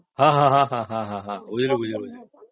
ହଁ ହଁ ବୁଝିଲି ବୁଝିଲି